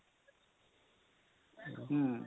ହୁଁ,